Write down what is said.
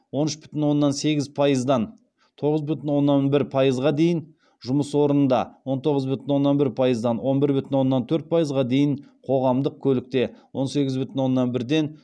он үш бүтін оннан сегіз пайыздан тоғыз бүтін оннан бір пайызға дейін жұмыс орнында он тоғыз бүтін оннан бір пайыздан он бір бүтін оннан төрт пайызға дейін қоғамдық көлікте он сегіз бүтін оннан бірден